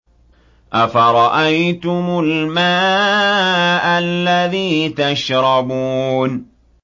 أَفَرَأَيْتُمُ الْمَاءَ الَّذِي تَشْرَبُونَ